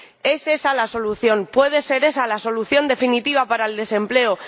¿Es esa la solución? ¿Puede ser esa la solución definitiva para el desempleo?